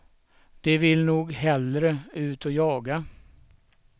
De vill nog hellre ut och jaga.